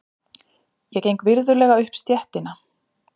Ég geng virðulega upp stéttina.